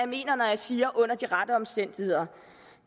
mener når jeg siger under de rette omstændigheder